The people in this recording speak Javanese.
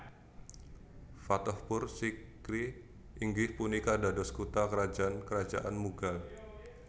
Fatehpur Sikri inggih punika dados kutha krajan karajaan Mughal